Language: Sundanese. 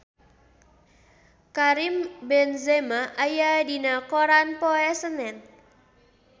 Karim Benzema aya dina koran poe Senen